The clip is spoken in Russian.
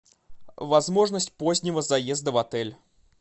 возможность позднего заезда в отель